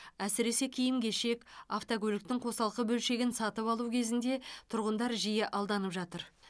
әсіресе киім кешек автокөліктің қосалқы бөлшегін сатып алу кезінде тұрғындар жиі алданып жатыр